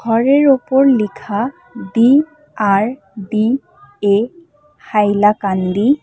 ঘরের ওপর লিখা ডি_আর_ডি_এ হাইলাকান্দী।